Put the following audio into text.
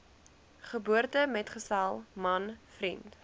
geboortemetgesel man vriend